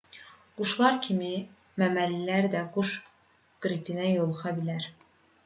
quşlar kimi məməlilər də quş qripinə yoluxa bilər